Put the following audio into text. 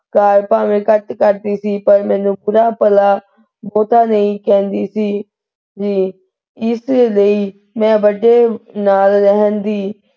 ਕੰਮ ਭਾਵੇਂ ਘੱਟ ਕਰਦੀ ਸੀ ਪਰ ਮੈਨੂੰ ਬੁਰਾ ਭਲਾ ਬਹੁਤ ਨਹੀਂ ਕਹਿੰਦੀ ਸੀ ਇਸ ਲਈ ਮੈਂ ਵੱਡੇ ਨਾਲ ਰਹਿਣ ਦੀ,